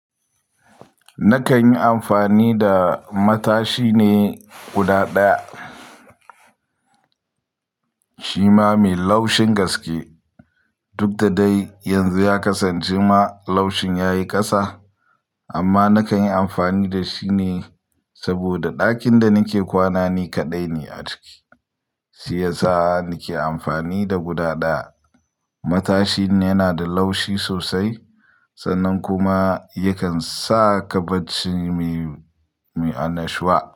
Nakan yi amfani da matashi ne guda ɗaya, shi ma mai laushin gaske duk da dai yanzu ya kasance ma laushin ya yi kasa. Amma nakan yi amfani da shi ne saboda ɗakin da nake kwana ni kaɗai ne a ciki shiyasa nake amfani da guda ɗaya. Matashin yana da laushi sosai sannan kuma yakan sa ka barci mai, mai annashuwa.